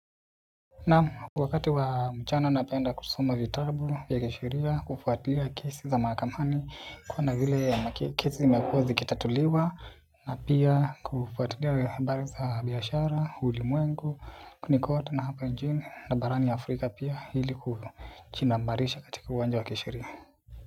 Naam wakati wa mchana napenda kusoma vitabu ya kisheria, kufuatilia kesi za mahakamani, kuona vile kesi zimekuwa zikitatuliwa na pia kufuatilia habari za biashara, ulimwengu ni kote, na hapa nchini na barani afrika pia ili kujinambarisha katika uwanja wa kisheria.